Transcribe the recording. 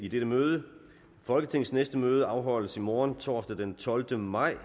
i dette møde folketingets næste møde afholdes i morgen torsdag den tolvte maj